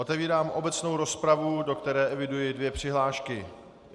Otevírám obecnou rozpravu, do které eviduji dvě přihlášky.